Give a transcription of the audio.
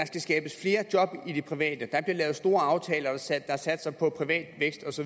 skal skabes flere job i det private der bliver lavet store aftaler der satser på privat vækst